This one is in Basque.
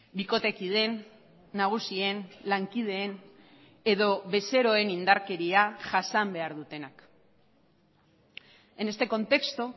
bikotekideen nagusien lankideen edo bezeroen indarkeria jasan behar dutenak en este contexto